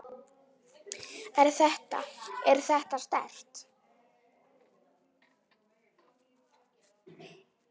Er þetta. er þetta sterkt?